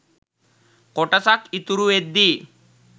කොටසක් ඉතුරුවෙද්දී